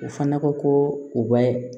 U fana ko ko u bɛ